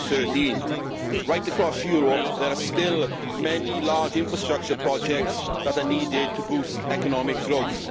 2013. Right across Europe there are still many large infrastructure projects that are needed to boost economic growth.